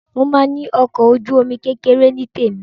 Màá ní ọkọ̀ ojú-omi kékeré tí tèmi.